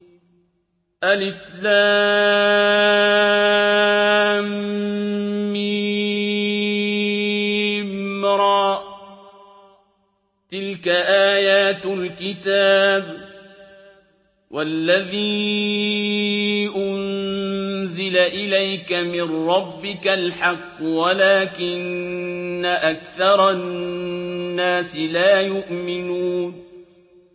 المر ۚ تِلْكَ آيَاتُ الْكِتَابِ ۗ وَالَّذِي أُنزِلَ إِلَيْكَ مِن رَّبِّكَ الْحَقُّ وَلَٰكِنَّ أَكْثَرَ النَّاسِ لَا يُؤْمِنُونَ